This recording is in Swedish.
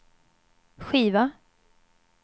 skiva